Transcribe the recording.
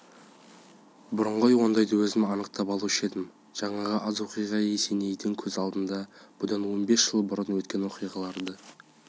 бұрын ғой ондайды өзім анықтатып алушы едім жаңағы аз оқиға есенейдің көз алдына бұдан он бес жыл бұрын өткен оқиғаларды